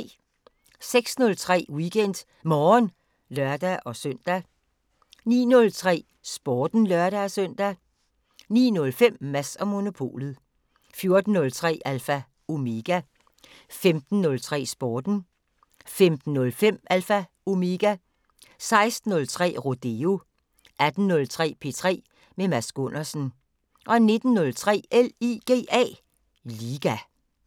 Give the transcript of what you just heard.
06:03: WeekendMorgen (lør-søn) 09:03: Sporten (lør-søn) 09:05: Mads & Monopolet 14:03: Alpha Omega 15:03: Sporten 15:05: Alpha Omega 16:03: Rodeo 18:03: P3 med Mads Gundersen 19:03: LIGA